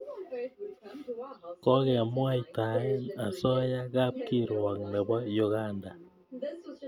Kokemwaitae asoya kapkirwok nepo Uganda